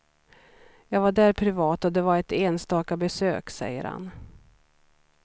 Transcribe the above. Jag var där privat och det var ett enstaka besök, säger han.